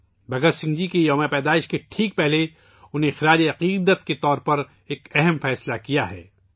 بھگت سنگھ جی کے یوم پیدائش سے عین قبل انہیں خراج عقیدت پیش کرنے کے لئے ایک اہم فیصلہ کیا گیا ہے